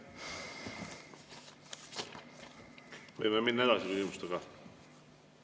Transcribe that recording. Võime minna küsimustega edasi.